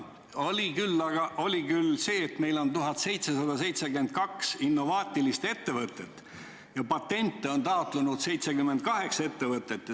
Tuli küll välja, et meil on 1772 innovaatilist ettevõtet ja patenti on taotlenud 78 ettevõtet.